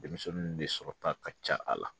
Denmisɛnnin de sɔrɔ ta ka ca a la